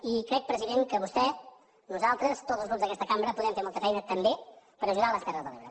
i crec president que vostè nosaltres tots els grups d’aquesta cambra podem fer molta feina també per ajudar les terres de l’ebre